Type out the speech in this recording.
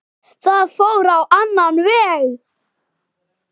Það fór á annan veg.